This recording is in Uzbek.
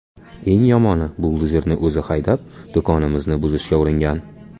Eng yomoni buldozerni o‘zi haydab, do‘konimizni buzishga uringan.